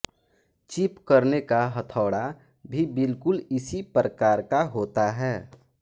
chip करने का हथौड़ा भी बिल्कुल इसी प्रकार का होता है